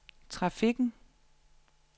trafikken